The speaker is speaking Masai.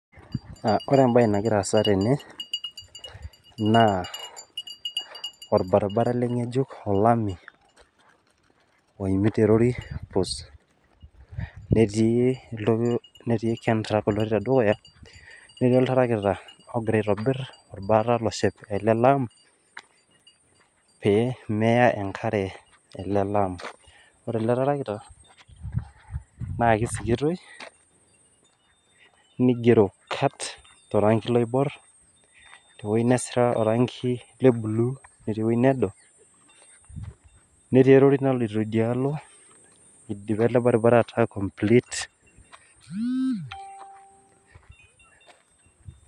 Ore ebae nagira aasa tene, naa orbaribara ele ng'ejuk olami oimita erori pus, netii oltoki kentrako lotii tedukuya, netii oltarakita ogira aitobir orbaata loshep ele lam, pee meya enkare ele lam. Ore ele tarakita, naa kesikitoi, nigero Cat toranki loibor, tewoi nesira oranki le blue netii ewoi nedo, netii erori naloito idialo, idipa ele baribara ataa complete.